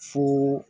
Fo